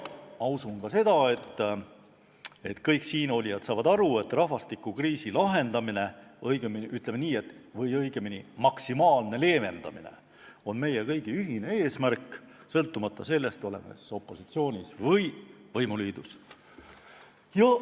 Ma usun, et kõik siinolijad arvavad, et rahvastikukriisi lahendamine või õigemini, ütleme nii, maksimaalne leevendamine on meie kõigi ühine eesmärk, sõltumata sellest, kas oleme opositsioonis või võimuliidus.